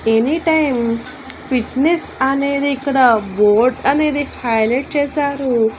Any time Fitness అనేది ఇక్కడ board అనేది హైలైట్ చేశారు.